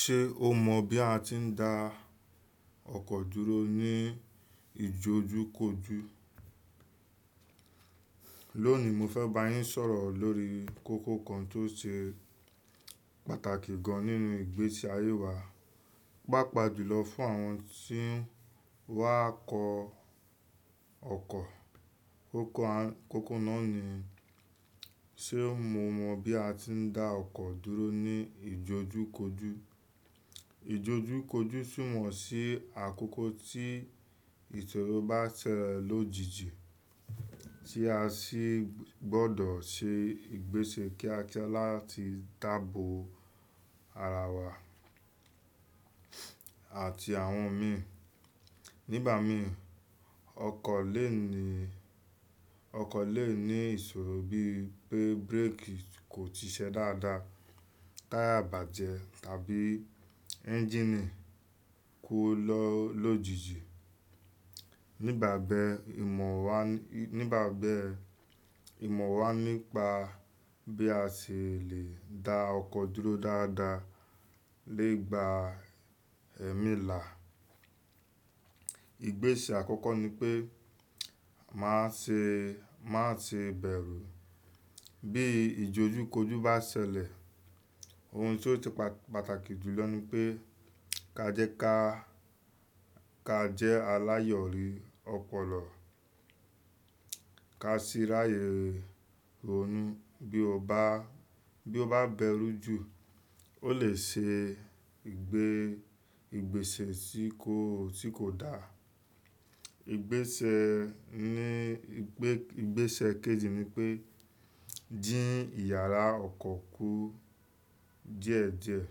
Ṣe o mọ bi a ti n da ọkọ duro ni ijojukoju? Loni mo fẹ ba yin sọrọ lori koko kan to ṣe pataki gan ninu igbesi aye wa. Paapaa julọ fun awon ti n wa kọ ọkọ. Koko naa ni, ṣe o mọ bi a ti n da ọkọ duro ni ijojukoju? Ijojukoju sunmọ si akoko ti isoro ba sẹlẹ lojiji ti a si gbọdọ ṣe igbesẹ kíákíá lati dabo ara wa ati awon mi. Nigba mi, ọkọ le ni, ọkọ le ni isoro bii pe bereki ko si ṣe dada, taya bajẹ tabi enjini ku lojije. Nigbabe, imọ wa, nigbabe imọ wa nipa bi a ṣe le da ọkọ duro dada le gba ẹmi la. Igbese akọkọ ni pe, ma ṣe, ma ṣe bẹru bi idojukoju ba ṣẹlẹ. Ohun ti o ṣe pa-pataki julọ ni pe, kaje ka, ka jẹ alayọri ọpọlọ, ka ṣera rere o ni. Bi o ba, bi o ba bẹru ju o le ṣe igbe-igbesẹ ti ko, ti ko da. Igbese ni, igbe-igbesẹ keji ni pe, din iyara ọkọ ku di e di e.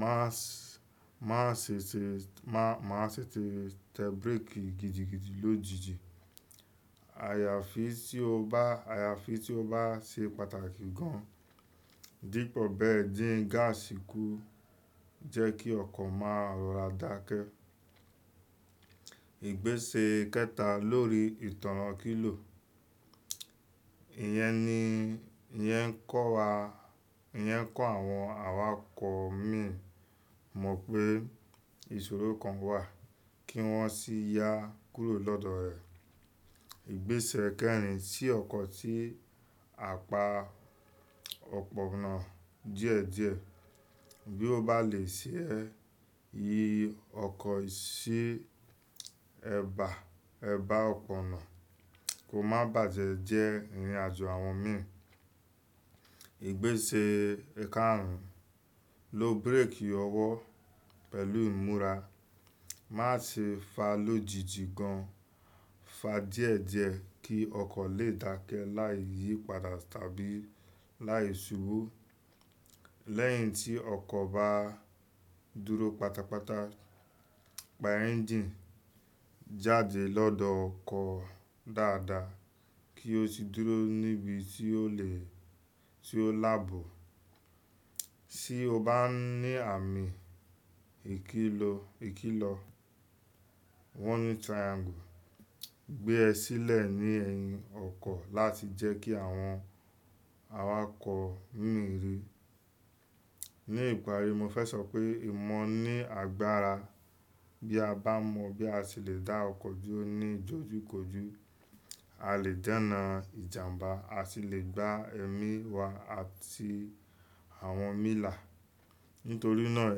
Maṣe, maṣe ṣe, ma, maṣe tẹ bereki gidigidi lojiji. Ayafi ti o ba, ayafi ti o ba ṣe pataki gan. Dipọ bẹẹ, din gasi ku, jẹ ki ọkọ ma rọra dake. Igbese kẹta lori itọna kilo. Iyẹn ni, iyẹn kọ wa, iyẹn kọ awọn awakọ mi mọ pe isoro kan wa ki wọn si ya kuro lodọ rẹ. Igbese kẹrin, ti ọkọ si apa ọpọna diẹdiẹ. Bi o ba le ṣe, yi ọkọ si ẹba, ẹba ọpọna. Ko ma bajẹ jẹ irin ajo awọn mi. Igbese karun, lo bereki ọwọ pẹlu imura. Maṣe fa lojiji gan. Fa diẹdiẹ ki ọkọ le dake lai yipada tabi lai ṣubu. Lẹhin ti ọkọ ba duro patapata, pa enjini jade lodọ ọkọ dada ki o si duro nibi ti o le, ti o labọ. Ti o ba ni ami ikilo, woni triangle, gbe e silẹ ni ẹyin ọkọ lati jẹ ki awọn awakọ mi rii. Ni ipari mo fẹ sọ pe, imọ ni agbara. Bi a ba mọ bi a ṣe le da ọkọ duro ni idojukoju, a le dena ijamba, a si le gba ẹmi wa ati awọn mi la. Nitori naa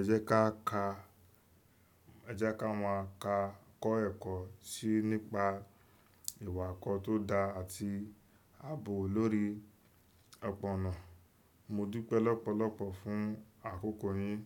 ẹjẹ ka ka, ẹjẹ ka ma ka kọ ẹkọ si nipa iwakọ to da ati aabo lori ọpọna. Mo dupe lọpọlọpọ fun akọkọ yin.